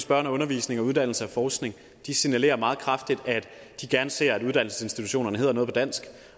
børn og undervisning og uddannelse og forskning signalerer meget kraftigt at de gerne ser at uddannelsesinstitutionerne hedder noget på dansk